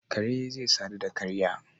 Kare zai sadu da karya